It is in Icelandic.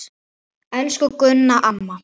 Elsku Gunna amma.